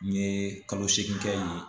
N ye kalo segin kɛ yen